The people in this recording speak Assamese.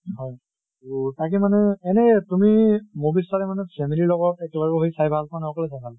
হয়। তʼ তাকে মানে এনে তুমি movies চালে মানে family লগত একেলগে বহি চাই ভাল পোৱা নে অকলে চাই ভাল পোৱা?